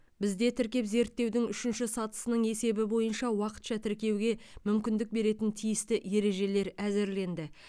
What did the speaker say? бізде тіркеп зерттеудің үшінші сатысының есебі бойынша уақытша тіркеуге мүмкіндік беретін тиісті ережелер әзірленді